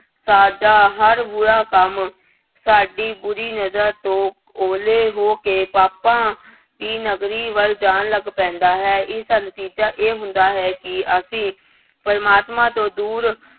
ਸਾਡਾ ਹਰ ਬੁਰਾ ਕੰਮ, ਸਾਡੀ ਬੁਰੀ ਨਜ਼ਰ ਤੋਂ ਉਹਲੇ ਹੋ ਕੇ ਪਾਪਾਂ ਦੀ ਨਗਰੀ ਵੱਲ ਜਾਣ ਲੱਗ ਪੈਂਦਾ ਹੈ ਇਸਦਾ ਨਤੀਜਾ ਇਹ ਹੁੰਦਾ ਹੈ ਕਿ ਅਸੀਂ ਪ੍ਰਮਾਤਮਾ ਤੋਂ ਦੂਰ